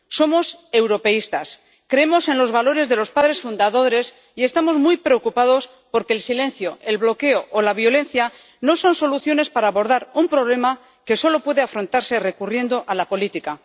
Somos europeístas, creemos en los valores de los padres fundadores y estamos muy preocupados porque el silencio, el bloqueo o la violencia no son soluciones para abordar un problema que solo puede afrontarse recurriendo a la política.